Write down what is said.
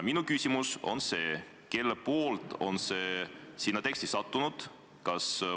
Minu küsimus on: kelle kaudu on see sellesse teksti sattunud?